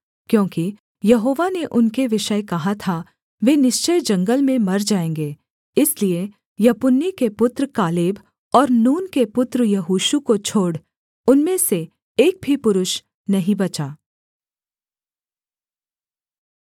क्योंकि यहोवा ने उनके विषय कहा था वे निश्चय जंगल में मर जाएँगे इसलिए यपुन्ने के पुत्र कालेब और नून के पुत्र यहोशू को छोड़ उनमें से एक भी पुरुष नहीं बचा